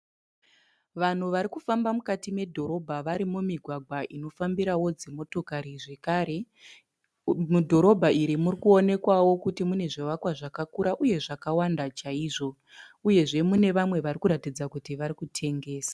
Vanhu varikufamba mukati medhorobha vari mumigwagwa inofambirawo dzimotokari zvekare. Mudhorobha iri muri kuonekwawo kuti mune zvivakwa zvakakura uye zvakawanda chaizvo uyezve mune vari kuratidza kuti varikutengesa.